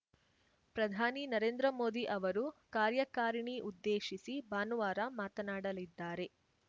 ಪ್ರಧಾನಿ ನರೇಂದ್ರ ಮೋದಿ ಅವರು ಕಾರ್ಯಕಾರಿಣಿ ಉದ್ದೇಶಿಸಿ ಭಾನುವಾರ ಮಾತನಾಡಲಿದ್ದಾರೆ